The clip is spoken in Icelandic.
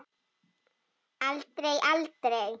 Aldrei, aldrei!